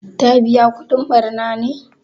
Ta biƴa kudin ɓarna ne?